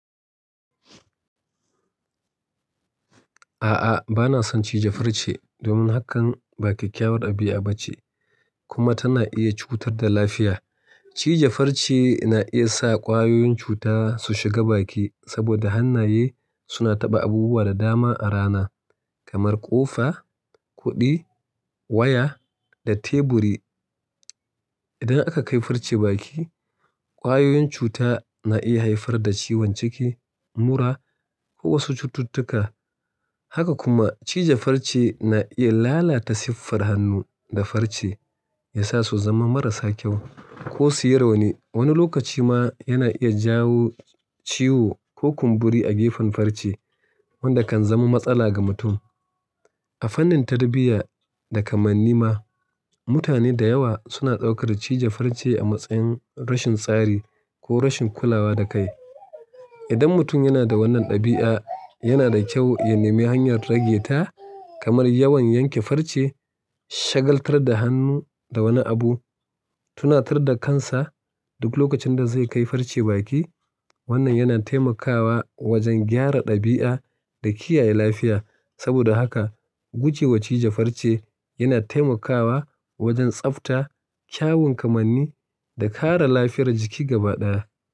A'a, bana son cije farce domin hakan ba kyakkyawar ɗabi'a ba ce kuma tana iya cutar da lafiya. Cije farce na iya sa ƙwayoyin cuta su shiga baki saboda hannaye suna taɓa abubuwa da dama a rana, kamar ƙofa, kuɗi, waya da teburi. Idan aka kai farce baki, ƙwayoyin cuta na iya haifar da ciwon ciki, mura ko wasu cututtuka. Haka kuma cije farce na iya lalata siffar hannu da farce, yasa su zama marasa kyau ko suyi rauni. Wani lokaci ma yana iya jawo ciwo ko kumburi a gefen farce wanda kan zama matsala ga mutum. A fannin tarbiyya da kamanni ma, mutane da yawa suna ɗaukar cije farce a matsayin rashin tsari ko rashin kulawa da kai. Idan mutum yana da wannan ɗabi'a, yana da kyau ya nemi hanyar rage ta, kamar yawan yanke farce, shagaltar da hannu da wani abu, tunatar da kansa duk lokacin da zai kai farce baki. Wannan yana taimakawa wajen gyara ɗabi'a da kiyaye lafiya. Saboda haka gujewa cije farce yana taimakawa wajen tsafta, kyawun kamanni da kare lafiyar jiki gaba ɗaya.